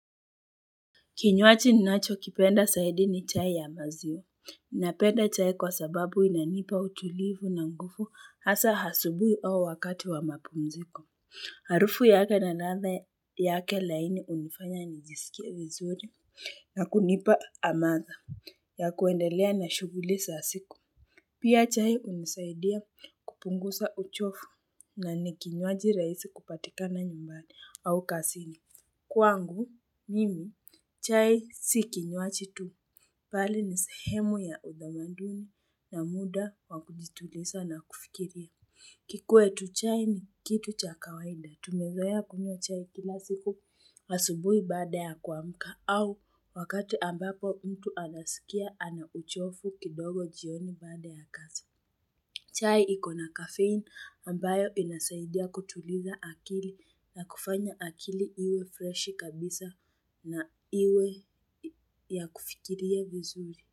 Kinywaji ninacho kipenda zaidi ni chai ya maziwa. Napenda chai kwa sababu inanipa utulivu na ngufu hasa hasubui au wakati wa mapumziko. Harufu na ladha yake laini hunifanya nijiskie vizuri na kunipa amadha ya kuendelea na shughuli za siku. Pia chai hunisaidia kupungusa uchofu na nikinywaji raisi kupatikana nyumbani au kasini. Kwangu, mimi, chai si ki nywachi tu pali ni sehemu ya udamaduni na muda wakujitulisa na kufikiria. Kikuwtu chai ni kitu cha kawaida. Tumezoea kunywa chai kila siku asubuhi baada ya kuamka au wakati ambapo mtu anaskia ana uchovu kidogo jioni baada ya kazi. Chai ikona kafein ambayo inasaidia kutuliza akili na kufanya akili iwe freshi kabisa na iwe ya kufikiria vizuri.